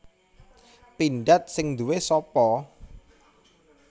Pindad sing nduwe sapa